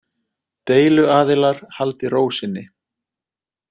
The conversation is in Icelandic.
Deiluaðilar haldi ró sinni